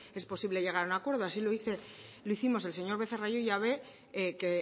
es posible llegar a un acuerdo así lo hicimos el señor becerra y yo y ya ve que